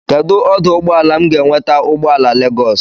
Kedụ ọdụụgbọala m ga-enweta ụgbọala Legọs?